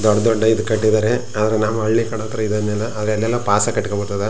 ದೊಡ್ಡ್ ದೊಡ್ಡ್ ಈದ್ ಕಟ್ಟಿದರೆ ಆದ್ರೆ ನಮ್ಮ ಹಳ್ಳಿ ಕಡೆ ಇದನ್ನೆಲ್ಲಾ ಅವು ಎಲ್ಲೆಲ್ಲೋ ಪಾಸ್ ಕಟ್ಟಗೋ ಬಿಟ್ಟದ್.